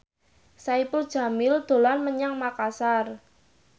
Saipul Jamil dolan menyang Makasar